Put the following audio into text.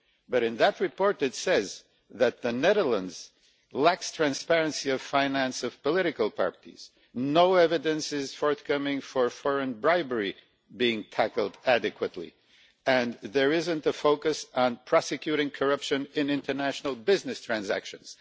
but in that report it says that the Netherlands lacks transparency in the financing of political parties, no evidence is forthcoming of foreign bribery being tackled adequately and there is not a focus on prosecuting corruption in international business transactions.